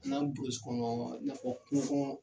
N'an bɛ i n'a fɔ kungokɔnɔ